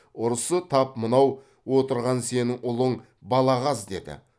ұрысы тап мынау отырған сенің ұлың балағаз деді